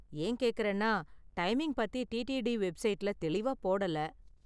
ஏன் கேக்கறேன்னா, டைமிங் பத்தி டிடிடி வெப்சைட்ல தெளிவா போடல.